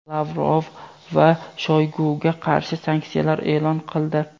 Lavrov va Shoyguga qarshi sanksiyalar e’lon qildi.